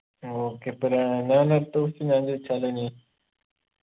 okay അപ്പൊ ഞാ ഞാൻ അടുത്ത question ഞാൻ ചോയിച്ചാലോ ഇനി